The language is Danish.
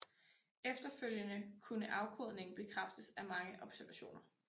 Efterfølgende kunne afkodningen bekræftes af mange observationer